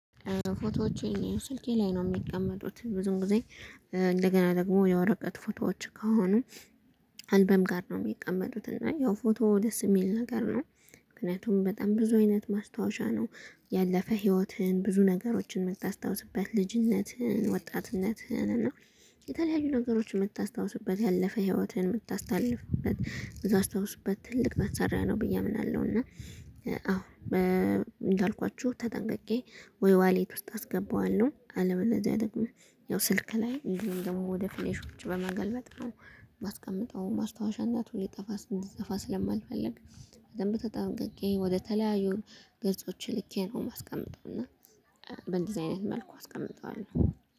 ፎቶዎቼ ስልኬ ላይ ነው ሚቀመጡት ብዙም ጊዜ እንደገና ደግሞ የወረቀት ፎቶዎች ከሆኑ አልበም ጋር ነው የሚቀመጡት። እና ያው ፎቶ ደስ የሚል ነገር ነው። ምክንያቱም በጣም ብዙ አይነት ማስታወሻ ነው። ያለፈ ህይወትህን ብዙ ነገሮችን የምታስታውስበት ልጅነትህን ወጣትነትህን እና የተለያዩ ነገሮችን የምታስታውስበት ያለፈ ህይወትን የምታስታልፍበት እምታስታውስበት ትልቅ መሰሪያ ነው ብዬ አምናለሁ። እና አሁን እንዳልኳችሁ ተጠንቅቄ ወይ ዋሌት ውስጥ አስገባዋለሁ አለበለዚያ ደግሞ ያው ስልክ ላይ እንዲሁም ደግሞ ወደ ፊሌሾች በማገልበጥ ነው። ባስቀምጠው አሁን ማስታወሻ ሊጠፋ እንዲጢፋ ስለማልፈልግ በደንብ ተጠንቅቄ ወደተለያዩ ገጾች ልኬ ነው የማስቀምጠው። እና በእንደዚህ አይነት መልኩ አስቀምጠዋለሁ